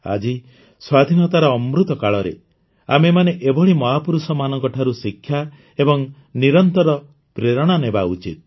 ଆଜି ସ୍ୱାଧୀନତାର ଅମୃତ କାଳରେ ଆମେମାନେ ଏଭଳି ମହାପୁରୁଷଙ୍କଠାରୁ ଶିକ୍ଷା ଏବଂ ନିରନ୍ତର ପ୍ରେରଣା ନେବା ଉଚିତ